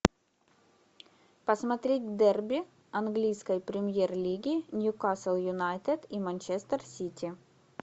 посмотреть дерби английской премьер лиги ньюкасл юнайтед и манчестер сити